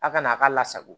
A kana a ka lasago